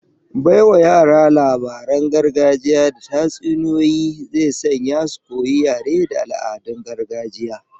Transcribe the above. Baiwa yara labaran gargajiya da tatsuniyoyi zai sanya su koyi yare da al'adun gargajiya